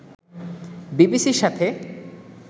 বিবিসির সাথে